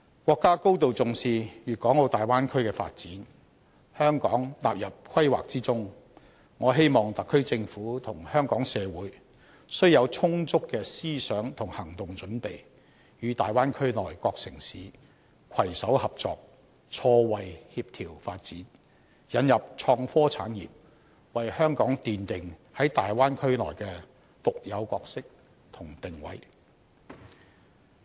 國家高度重視大灣區的發展，香港納入規劃之中，我希望特區政府和香港社會須有充足的思想和行動準備，與大灣區內各城市攜手合作、錯位協調發展，引入創科產業，為香港奠定在大灣區內的獨有角色和定位。